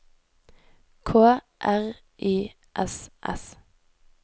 K R Y S S